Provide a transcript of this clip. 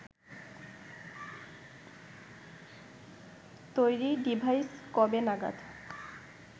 তৈরি ডিভাইস কবে নাগাদ